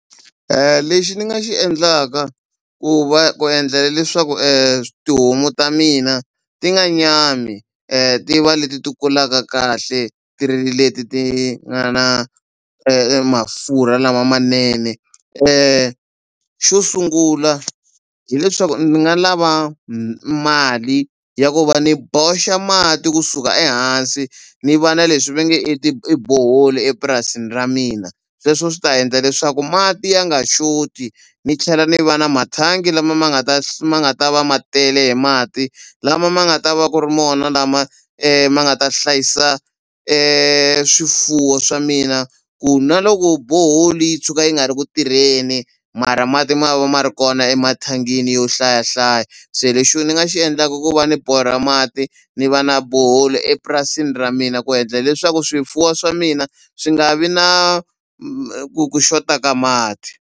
Lexi ni nga xi endlaka ku va ku endlela leswaku tihomu ta mina ti nga nyami ti va leti ti kulaka kahle ti ri leti ti nga na mafurha lama manene xo sungula hileswaku ni nga lava mali ya ku va ni boxa mati kusuka ehansi ni va na leswi ve nge i i bhoholi epurasini ra mina sweswo swi ta endla leswaku mati ya nga xoti ni tlhela ni va na mathangi lama ma nga ta ma nga ta va ma tele hi mati lama ma nga ta va ku ri mona lama ma nga ta hlayisa swifuwo swa mina ku na loko boholi yi tshuka yi nga ri ku tirheni mara mati ma va ma ri kona emathangini yo hlayahlaya se lexi ni nga xi endlaka i ku va ni borha mati ni va na bohololi epurasini ra mina ku endla leswaku swifuwo swa mina swi nga vi na ku ku xota ka mati.